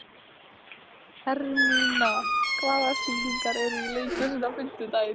Hermína, hvaða sýningar eru í leikhúsinu á fimmtudaginn?